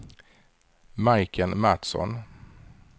Majken Matsson